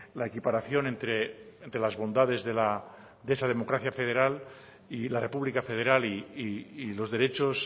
la equiparación entre las bondades de esa democracia federal y la república federal y los derechos